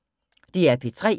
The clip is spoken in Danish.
DR P3